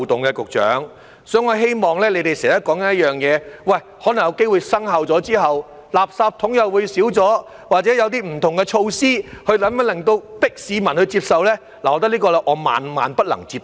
局長，所以我希望......你們經常說可能有機會在生效後，垃圾桶會減少，或者有些不同的措施強迫市民接受，但我認為這個萬萬不能接受。